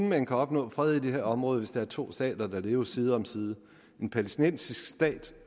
man kan opnå fred i det her område hvis der er to stater der lever side om side en palæstinensisk stat